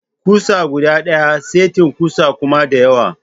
Kusa guda daya, setin kusa kuma da yawa.